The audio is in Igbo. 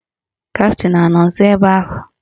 Kaptịn anọ nsọ ebe ahụ?